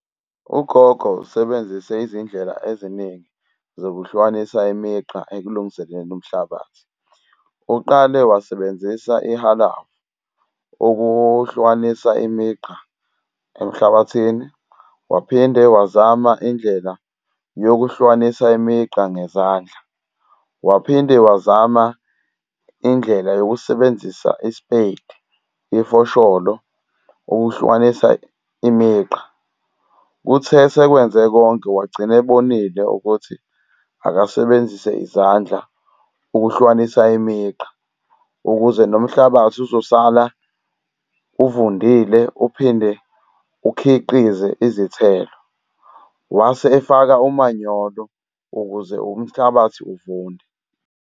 Ugogo usebenzise izindlela eziningi zokuhlukanisa imigqa ekulungiseni umhlabathi. Uqale wasebenzisa ihalavu ukuhlukanisa imigqa emhlabathini, waphinde wazama indlela yokuhlukanisa imigqa ngezandla, waphinde wazama indlela yokusebenzisa isipeyiti, ifosholo ukuhlukanisa imigqa. Kuthe sekwenze konke wagcina ebonile ukuthi akasebenzise izandla ukuhlukanisa imigqa ukuze nomhlabathi uzosala uvundile uphinde ukhiqize izithelo. Wase efaka umanyolo ukuze umhlabathi uvunde.